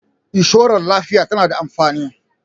inshorar lafiya tana da amfani